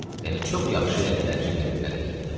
Yəni çox yaxşı elədilər ki, verdilər Heydərə.